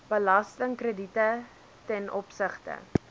belastingkrediete ten opsigte